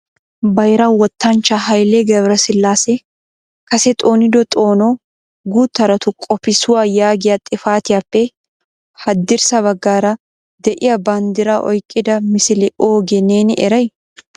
Bayra wottanchcha Hayle GebreSilasse kase xoonido xoono gutaratu qopissuwa yaaggiya xifaatiyappe haddirssa baggaara de'iyaa banddra oyqqida misilee oogee neeni eray?